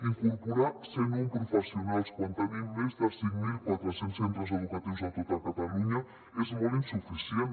incorporar cent un professionals quan tenim més de cinc mil quatre cents centres educatius a tot catalunya és molt insuficient